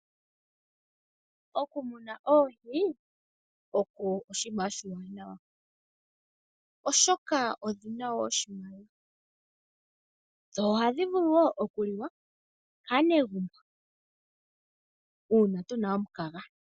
Oku muna oohi oko oshinima oshiwanawa, oshoka odhina wo oshimaliwa. Dho ohadhi vulu wo oku liwa kaanegumbouna tuna omukaga.